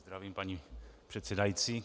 Zdravím, paní předsedající.